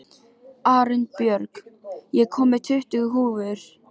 Arinbjörg, ég kom með tuttugu húfur!